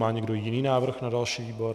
Má někdo jiný návrh na další výbor?